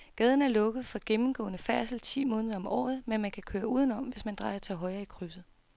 Gaden er lukket for gennemgående færdsel ti måneder om året, men man kan køre udenom, hvis man drejer til højre i krydset.